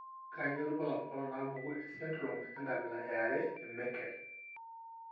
Kainyio irbulabul onaapuku esindirom enkabila eare eMeckel?